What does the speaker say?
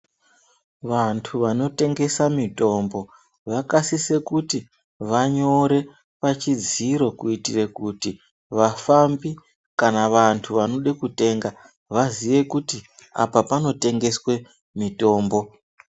Vantu vano tengesa mitombo vaka sise kuti vanyore pa chidziro kuitire kuti vafambi kana vantu vanode kutenga vaziye kuti apa pano tengeswe mitombo.